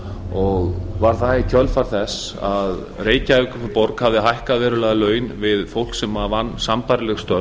og var að í kjölfar þess að reykjavíkurborg hafði hækkað verulega laun við fólk sem vann sambærileg störf